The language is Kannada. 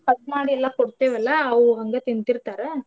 Cut ಮಾಡಿ ಎಲ್ಲಾ ಕೊಡ್ತೀವಲ್ಲಾ ಅವು ಹಂಗ ತಿಂತಿರ್ತರಾ.